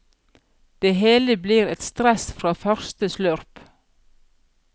Det hele blir et stress fra første slurp.